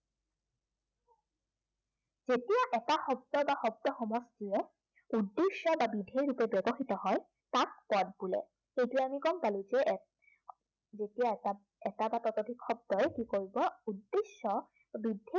যেতিয়া এটা শব্দ বা শব্দ সমষ্টিয়ে উদ্দেশ্য় বা বিধেয়ৰূপে ব্য়ৱহৃত হয়, তাক পদ বোলে। তেতিয়া আমি গম পালে যে, যেতিয়া এটা, এটা বা ততোধিক শব্দই কি কৰিব উদ্দেশ্য় বা বিধেয়